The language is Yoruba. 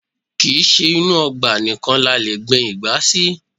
Kì í ṣe inú ọgbà nìkan ni a lè gbin ìgbá sí